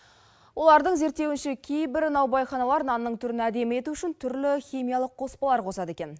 олардың зерттеуінше кейбір наубайханалар нанның түрін әдемі ету үшін түрлі химиялық қоспалар қосады екен